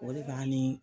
O de b'ani